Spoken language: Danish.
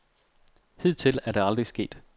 Hidtil er det aldrig sket.